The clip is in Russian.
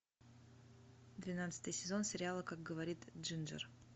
двенадцатый сезон сериала как говорит джинджер